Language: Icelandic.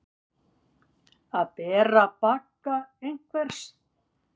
Að bera bagga einhvers